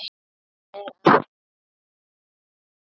Það er að segja mig.